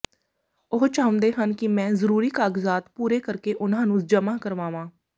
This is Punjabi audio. ਉਹ ਚਾਹੁੰਦੇ ਹਨ ਕਿ ਮੈਂ ਜ਼ਰੂਰੀ ਕਾਗਜ਼ਾਤ ਪੂਰੇ ਕਰਕੇ ਉਨ੍ਹਾਂ ਨੂੰ ਜਮ੍ਹਾ ਕਰਾਵਾਂ